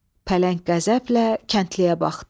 Pələng qəzəblə kəndliyə baxdı.